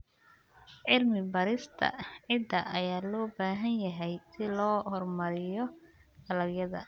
Cilmi-baarista ciidda ayaa loo baahan yahay si loo horumariyo dalagyada.